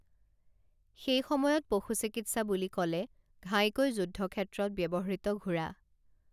সেই সময়ত পশু চিকিৎসা বুলি কলে ঘাইকৈ যুদ্ধক্ষেত্ৰত ব্যবহৃত ঘোঁৰা